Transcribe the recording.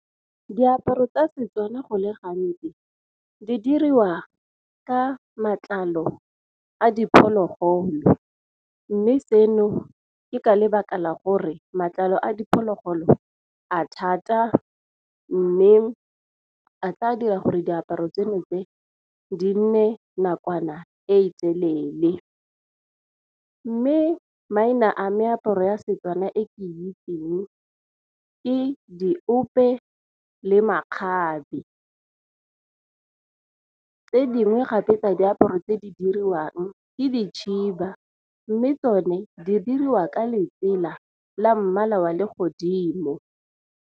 Diaparo tsa Setswana go le gantsi di diriwa ka matlalo a diphologolo, mme seno ke ka lebaka la gore matlalo a diphologolo a thata mme a tla dira gore diaparo tseno tse di nne nakwana e telele. Mme maina a meaparo ya Setswana e ke itseng ke diope le makgabe, tse dingwe gape tsa diaparo tse di diriwang ke dikhiba, mme tsone di diriwa ka letsela la mmala wa le godimo.